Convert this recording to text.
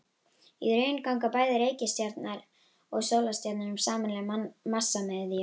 Í raun ganga bæði reikistjarnan og sólstjarnan um sameiginlega massamiðju.